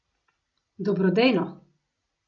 Dobrodejno.